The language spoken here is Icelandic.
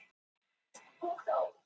Þorði varla að anda.